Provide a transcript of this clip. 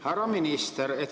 Härra minister!